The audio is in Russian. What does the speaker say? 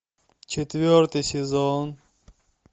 четвертый сезон